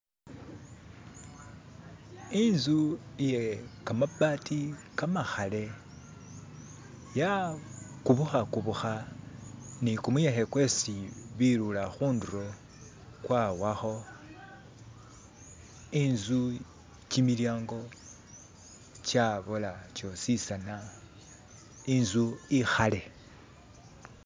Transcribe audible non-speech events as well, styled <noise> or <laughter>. "<skip>" intzu iye kamabati kamakhale ya kubukhakubukha ni kumuyekhe kwesi beelula khundulo kwawakho intzsu kimilyango kyabola kyositsana inzu ikhale.